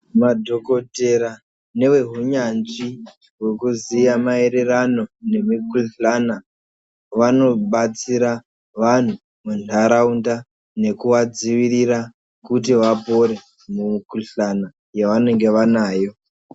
Madhokotera nevehunyanzvi hwekuziya maererano nemikuhlana vanobatsira vanhu munharaunda nekuvadzivirira kuti vapore mumikuhlana yavanenge vanayo.